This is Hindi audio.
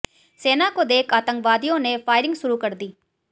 सेना को देख आतंकवादियों ने फायरिंग शुरू कर दी